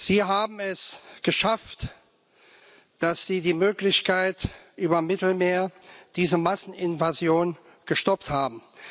Sie haben es geschafft, dass Sie die Möglichkeit über das Mittelmeer diese Masseninvasion gestoppt haben.